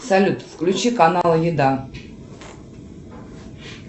салют включи канал еда